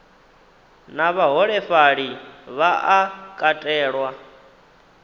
na vhaholefhali vha a katelwa